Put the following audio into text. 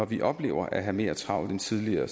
vi oplever at have mere travlt end tidligere